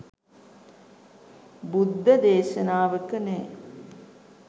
බුද්ධ දේශනාවක නෑ.